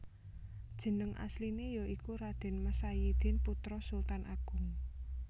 Jeneng asliné ya iku Raden Mas Sayidin putra Sultan Agung